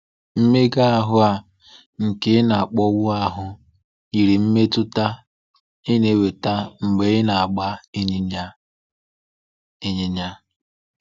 Mmega ahụ a nke ị na-akpọnwụ ahụ yiri mmetụta ị na-enweta mgbe ị na-agba ịnyịnya ịnyịnya.